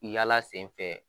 Yaala sen fɛ